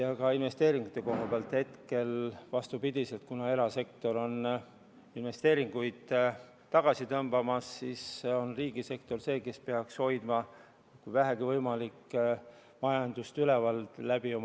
Ja ka investeeringute koha pealt võib öelda, et kuna erasektor tõmbab investeeringuid tagasi, siis peaks riigisektor, kui vähegi võimalik, oma investeeringutega majandust üleval hoidma.